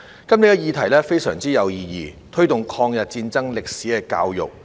今天的議題非常有意義，是"推動抗日戰爭歷史的教育"。